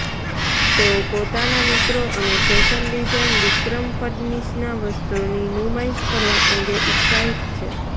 તેઓ પોતાના મિત્રો અને ફૅશન ડિઝાઇન વિક્રમ ફડનીશના વસ્ત્રોની નુમાઇશ કરવા અંગે ઉત્સાહિત છે